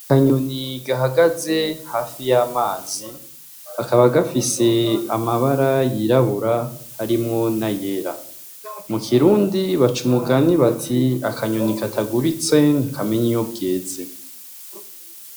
Akanyoni gahagaze hafi y’amazi , kakaba gafise amabara yirabura arimwo n’ayera . Mu kirundi baca Umugani bato Akanyoni katagurutse ntikamenya iyo bweze.